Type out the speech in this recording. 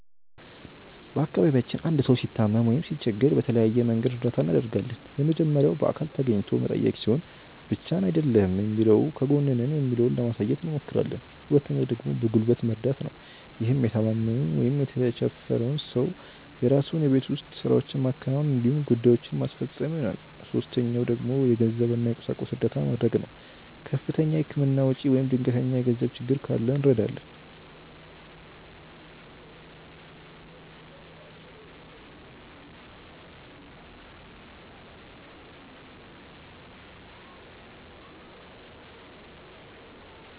በአካባቢያችን አንድ ሰው ሲታመም ወይም ሲቸገር በተለያየ መንገድ እርዳታ እናደርጋለን። የመጀመሪያው በአካል ተገኝቶ መጠየቅ ሲሆን ብቻህን አይደለህም የሚለውን ከጎንህ ነን የሚለውን ለማሳየት አብሞክራለን። ሁለተኛው ደግሞ በጉልበት መርደት ነው። ይህም የታማሚውን ወይም የተቸፈረውን ሰው የራሱን የቤት ውስጥ ስራዎች ማከናወን እንዲሁም ጉዳዬችን ማስፈፀን ይሆናል። ሶስተኛው ደግሞ የገንዘብ እና የቁሳቁስ እርዳታ መድረግ ነው። ከፍተኛ የህክምና ወጪ ወይም ድንገተኛ የገንዘብ ችግር ካለ እንረዳለን።